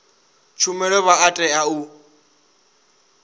tshumelo vha a tea u